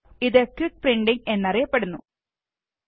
ഇത് quick printing എന്ന് അറിയപ്പെടുന്നു എന്നറിയപ്പെടുന്നു